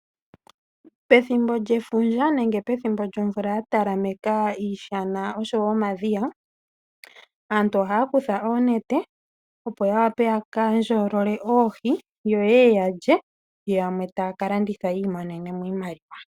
Pethimbo lyefundja nenge pethimbo lyomvula ya talameka miishana noshowo momadhiya, aantu ohaya kutha oonete, opo ya wape ya ka ndjolole oohi, ye ye ya lye yo yamwe taya ka landitha yi imonene mo iimliwa.